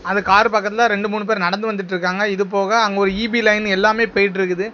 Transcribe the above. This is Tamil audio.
அது கார் பக்கத்துல ரெண்டு மூணு பேர் நடந்து வந்துட்டு இருக்காங்க இதுபோக அங்க ஒரு ஈ_பி லைன் எல்லாமே போயிட்டு இருக்கு.